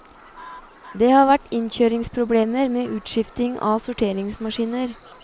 Det har vært innkjøringsproblemer med utskifting av sorteringsmaskiner.